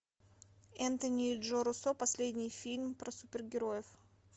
энтони джо руссо последний фильм про супергероев